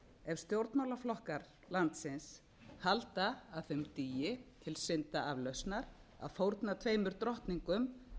ef stjórnmálaflokkar landsins halda að þeim dugi til syndaaflausnar að fórna tveimur drottningum